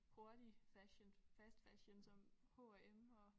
Hurtig fashion fast fashion som H&M og